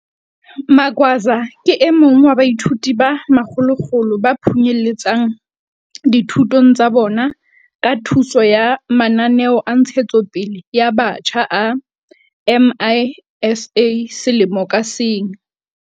Magwaza ke e mong wa baithuti ba makgolokgolo ba phunyeletsang dithutong tsa bona ka thuso ya mananeo a ntshetsopele ya batjha a MISA selemo ka seng.